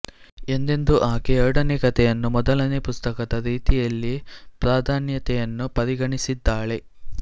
ಎಂದೆಂದೂ ಆಕೆ ಎರಡನೇ ಕಥೆಯನ್ನು ಮೊದಲನೆ ಪುಸ್ತಕದ ರೀತಿಯಲ್ಲಿಯೇ ಪ್ರಾಧಾನ್ಯತೆಯನ್ನು ಪರಿಗಣಿಸಿದ್ದಾಳೆ